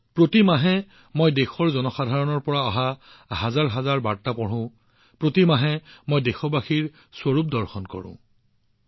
প্ৰতি মাহে মই দেশৰ জনসাধাৰণৰ হাজাৰ হাজাৰ বাৰ্তা পঢ়ো প্ৰতি মাহে মই দেশবাসীৰ এটা বা আনটো আশ্চৰ্যকৰ বাৰ্তা জানিবলৈ পাওঁ